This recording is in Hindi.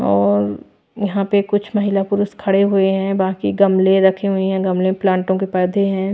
और यहां पे कुछ महिला पुरुष खड़े हुए हैं बाकी गमले रखे हुए हैं गमले में प्लांटो के पौधे हैं।